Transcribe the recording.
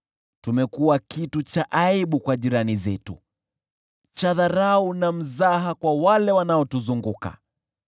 Tumekuwa kitu cha aibu kwa jirani zetu, cha dharau na mzaha kwa wale wanaotuzunguka.